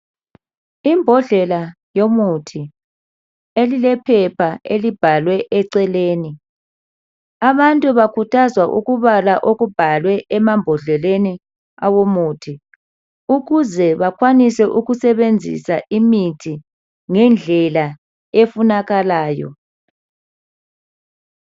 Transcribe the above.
Imbodlela yomuthi elilephepha elibhalwe eceleni. Abantu bakhuthazwa ukubala okubhalwe emambodleleni awomuthi ukuze bakwanise ukusebenzisa imithi ngendlela efunakalayo.